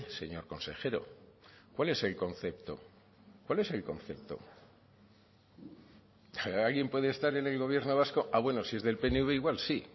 señor consejero cuál es el concepto cuál es el concepto alguien puede estar en el gobierno vasco ah bueno si es del pnv igual sí